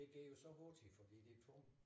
Det gik jo så af h til fordi det tungt